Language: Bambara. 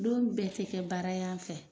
Don bɛɛ ti kɛ baara y'an fɛ.